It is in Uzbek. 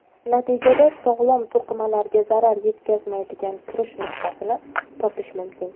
Natijada sog‘lom to‘qimalarga zarar yetkazmaydigan kirish nuqtasini topish mumkin.